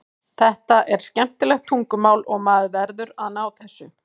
Þetta er skemmtilegt tungumál og maður verður að ná þessu.